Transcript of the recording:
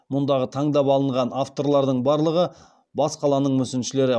мұндағы таңдап алынған авторлардың барлығы бас қаланың мүсіншілері